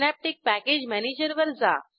synaptic package manager वर जा